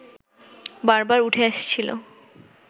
বারবার উঠে আসছিলেো